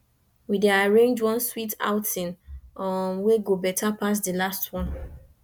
we dey arrange one sweet outing um wey go better pass di last one